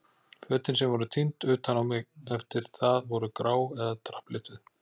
Fötin sem voru tínd utan á mig eftir það voru grá eða drapplituð.